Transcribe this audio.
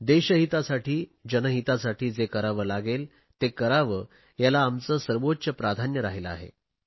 देशहितासाठी जनहितासाठी जे करावे लागेल ते करण्याला आमचे सर्वोच्च प्राधान्य राहिले आहे